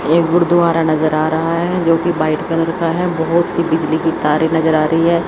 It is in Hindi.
ये गुरुद्वारा नजर आ रहा है जोकि बाइट कलर का है बहोत सी बिजली की तारें नजर आ रही हैं।